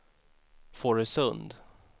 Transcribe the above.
Fårösund